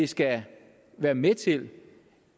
skal være med til